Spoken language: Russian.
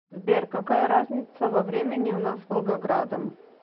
сбер какая разница во времени у нас с волгоградом